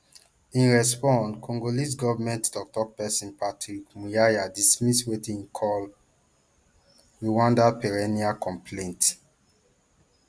in response congolese government toktok pesin patrick muyaya dismiss wetin e call rwanda perennial complaint